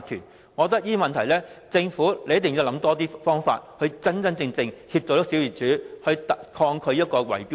就着這些問題，政府一定要多想方法，真正幫助小業主對抗圍標。